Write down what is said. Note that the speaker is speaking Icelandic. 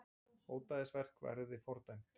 Ódæðisverk verði fordæmt